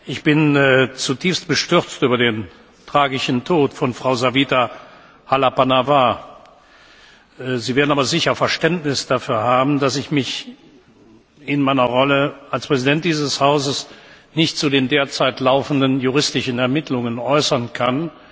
Ich bin zutiefst bestürzt über den fraglichen Tod von Frau Savita Halappanavar, Sie werden aber sicher Verständnis dafür haben, dass ich mich in meiner Rolle als Präsident dieses Hauses nicht zu den derzeit laufenden juristischen Ermittlungen äußern kann.